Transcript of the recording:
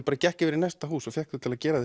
gekk yfir í næsta hús og fékk þau til að gera